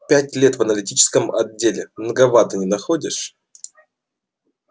пять лет в аналитическом отделе многовато не находишь